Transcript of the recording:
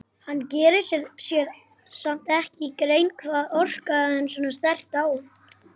Hann gerir sér samt ekki grein fyrir hvað orkaði svona sterkt á hann.